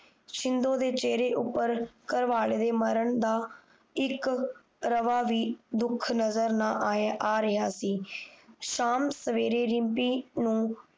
ਸ਼ਿੰਦੋ ਦੇ ਚੇਹਰੇ ਉੱਪਰ ਘਰਵਾਲੇ ਦੇ ਮਰਨ ਦਾ ਇੱਕ ਰਵਾ ਵੀ ਦੁੱਖ ਨਜਰ ਨਾ ਆ ਰਿਹਾ ਸੀ ਸ਼ਾਮ ਸਵੇਰੇ ਰਿਮਪੀ ਨੂੰ